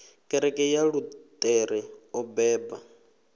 kereke ya luṱere o beba